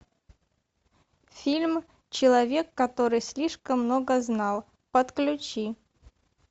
фильм человек который слишком много знал подключи